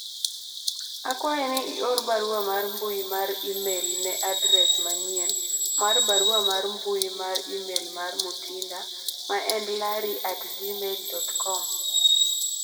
akwayi ni ior barua mar mbui mar email ne adres manyien mar barua mar mbui mar email mar Mutinda ma en larry at gmail dot kom